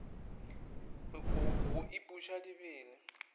go ipuša di be le